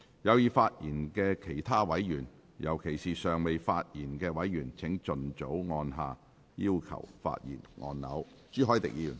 有意發言的其他委員，尤其是尚未發言的委員，請盡早按下"要求發言"按鈕。